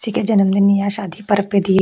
किसी के जन्मदिन या शादी पर दिए--